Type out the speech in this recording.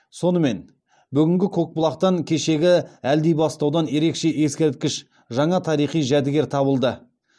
сонымен бүгінгі көкбұлақтан кешегі әлдибастаудан ерекше ескерткіш жаңа тарихи жәдігер табылды